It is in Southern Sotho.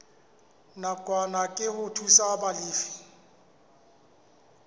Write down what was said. nakwana ke ho thusa balefi